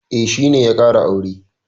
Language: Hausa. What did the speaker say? E, shi ne ya ƙara aure.